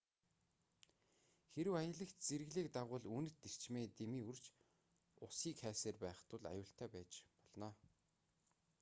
хэрэв аялагч зэрэглээг дагавал үнэт эрчмээ дэмий үрж усыг хайсаар байх тул аюултай байж болно